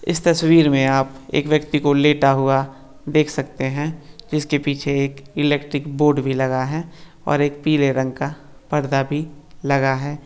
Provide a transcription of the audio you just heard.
इस तस्वीर मे आप एक व्यक्ती को लेटा हुआ देख सकते है जिसके पीछे एक इलेक्ट्रिक बोर्ड भी लगा है और एक पीले रंग का पड़ा भी लगा है।